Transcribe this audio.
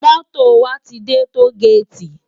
Moto wá ti dè tógéti